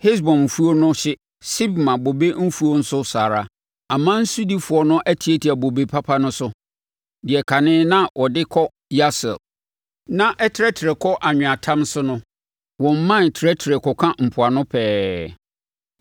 Hesbon mfuo no hye, Sibma bobe mfuo nso saa ara. Aman sodifoɔ no atiatia bobe papa no so, deɛ kane na wɔde kɔ Yaser na ɛtrɛtrɛ kɔ anweatam so no. Wɔn mman trɛtrɛ kɔka mpoano pɛɛ.